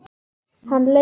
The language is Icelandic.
Hann leit upp.